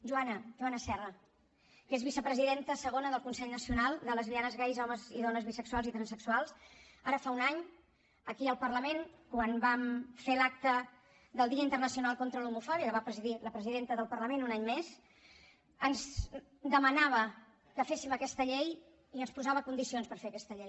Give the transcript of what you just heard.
joana joana serra que és vicepresidenta segona del consell nacional de lesbianes gais homes i dones bisexuals i transsexuals ara fa un any aquí al parlament quan vam fer l’acte del dia internacional contra l’homofòbia que va presidir la presidenta del parlament un any més ens demanava que féssim aquesta llei i ens posava condicions per fer aquesta llei